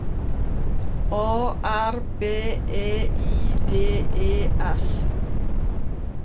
A R B E I D E S